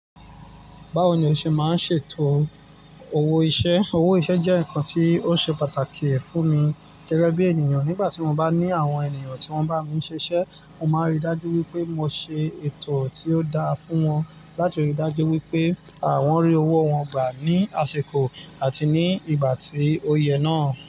Báwo ni o ṣe máa ń ṣètò owó iṣẹ́? Owó iṣẹ́ jẹ́ ǹkan tí ó ṣe pàtàkì ẹ̀ fún mi gẹ́gẹ́ bí ènìyàn nígbà tí mo bá ní àwọn ènìyàn tí wọ́n bá mi ṣiṣẹ́, mo máa n ríi dájú wípé mo ṣe ètò tí ó dáa fún wọn láti ríi dájú wípé àwọn rí owó wọn gbà ní àsìkò àti ní ìgbà tí ó yẹ náà.